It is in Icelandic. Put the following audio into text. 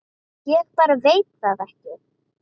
Ég bara veit það ekki.